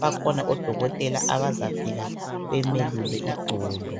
Bakhona odokotela bazafika bemelula idolo